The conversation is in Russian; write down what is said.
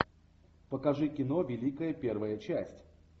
покажи кино великая первая часть